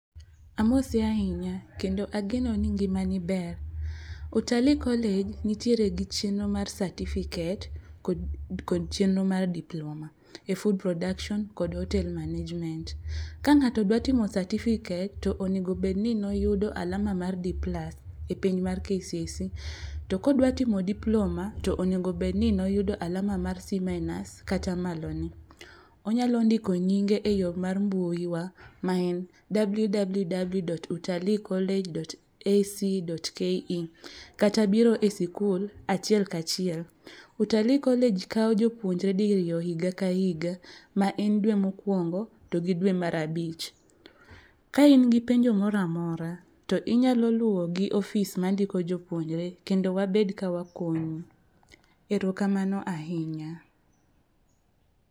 Amosi ahinya kendo ageno ni ngima ni ber .Utalii college nitiere gi chenro mar certificate kod chenro mar diploma e food production kod hotel management. Ka ng'ato dwaro timo certificate to onego bed ni noyudo alama mar D plus e penj mar KCSE to kodwa timo diploma to onego obed ni noyudo alama mar C- kata malone .Onyalo bdiko yinge e yoo mar mbui wa ma en www dot utali college dot ac dot ke kata biro e sikul achiel kachiel . Utali college kawo jopuonjere diriyo higa ka higa ma en dwe mokwongo to gi dwe mar abich. Ka in gi penjo moramora to inyalo luwo gi e ofis mandiko jopuonire kendo wabed ka wakonyi erokamano ahinya.